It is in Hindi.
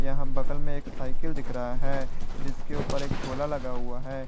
यहां बगल में एक साइकिल दिख रहा है जिसके ऊपर एक झोला लगा हुआ है।